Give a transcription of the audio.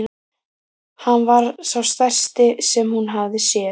Hann var sá stærsti sem hún hafði séð.